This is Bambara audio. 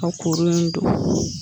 Ka kuru in don.